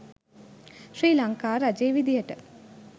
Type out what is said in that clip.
ශ්‍රී ලංකා රජය විදියට.